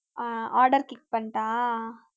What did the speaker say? ah order click பண்ணட்டா